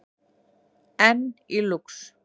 Enn í Lúx